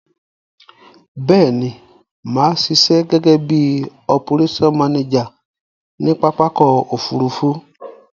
Béèni, màá sisẹ́ gégé bi operation manager ni pápákò òfurufú